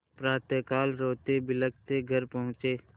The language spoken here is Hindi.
प्रातःकाल रोतेबिलखते घर पहुँचे